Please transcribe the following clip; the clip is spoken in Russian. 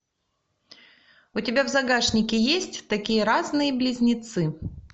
у тебя в загашнике есть такие разные близнецы